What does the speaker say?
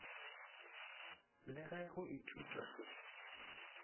le ge go ithutwa se